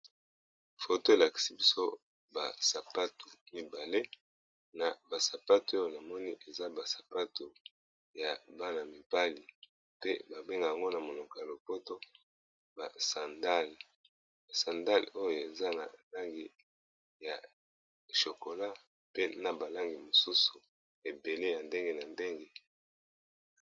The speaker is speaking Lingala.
foto elaksi biso basapatu mibale na basapatu oyo na moni eza basapatu ya bana-mibali pe babengango na monoko ya lopoto ba sandale sandale oyo eza na langi ya chokola pe na balangi mosusu ebele ya ndenge na ndenge